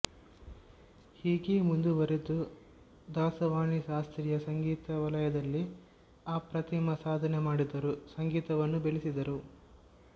ಹೀಗೆ ಮುಂದುವರೆದು ದಾಸವಾಣಿಶಾಸ್ತ್ರೀಯ ಸಂಗೀತವಲಯದಲ್ಲಿ ಅಪ್ರತಿಮ ಸಾಧನೆಮಾಡಿದರು ಸಂಗೀತವನ್ನೂ ಬೆಳೆಸಿದರು